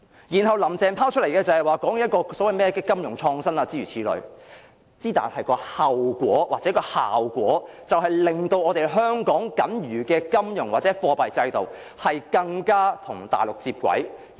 然後，"林鄭"提出所謂的金融創新，但帶來的後果或效果是，我們的金融或貨幣制度變得更加與大陸接軌。